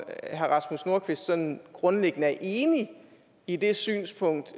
herre rasmus nordqvist sådan grundlæggende er enig i det synspunkt